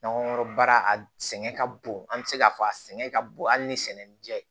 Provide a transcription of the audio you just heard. N'an ko kɔrɔbara a sɛgɛn ka bon an be se k'a fɔ a sɛgɛn ka bon hali ni sɛnɛni ja